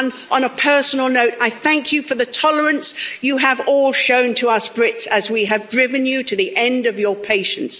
On a personal note, I thank you for the tolerance you have all shown to us Brits as we have driven you to the end of your patience.